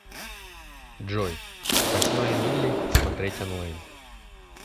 джой восьмая милли смотреть онлайн